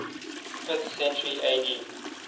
fifth century ad